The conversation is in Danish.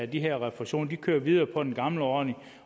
de her refusioner de kører videre på den gamle ordning